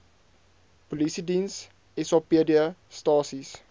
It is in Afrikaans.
polisiediens sapd stasies